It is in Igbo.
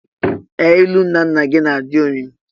Ee! Ilu nnanna gị na-adị omimi.